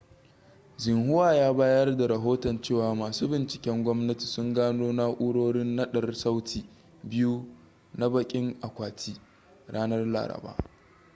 xinhua ya bayar da rahoton cewa masu binciken gwamnati sun gano na'urorin naɗar sauti biyu na 'bakin akwatin' ranar laraba